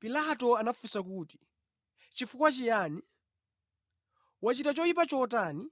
Pilato anafunsa kuti, “Chifukwa chiyani? Wachita choyipa chotani?”